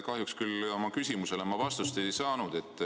Kahjuks küll ma oma küsimusele vastust ei saanud.